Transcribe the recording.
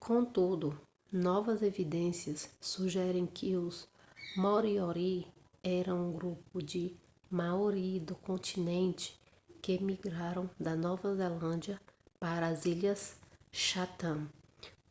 contudo novas evidências sugerem que os moriori eram um grupo de maori do continente que migraram da nova zelândia para as ilhas chatham